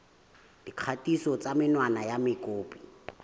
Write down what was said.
dikgatiso tsa menwana ya mokopi